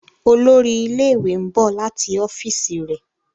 Olórí ilé ìwé nbọ wá láti ọfiisi re.